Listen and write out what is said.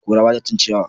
Kura ba ta cin ciyawa.